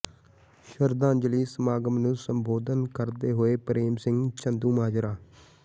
ਸ਼ਰਧਾਂਜਲੀ ਸਮਾਗਮ ਨੂੰ ਸੰਬੋਧਨ ਕਰਦੇ ਹੋਏ ਪ੍ਰੇਮ ਸਿੰਘ ਚੰਦੂਮਾਜਰਾ